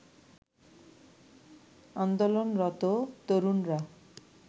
আন্দোলনরত তরুণরা